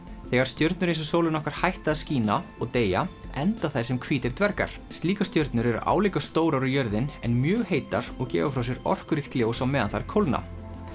þegar stjörnur eins og sólin okkar hætta að skína og deyja enda þær sem hvítir dvergar slíkar stjörnur eru álíka stórar og jörðin en mjög heitar og gefa frá sér orkuríkt ljós á meðan þær kólna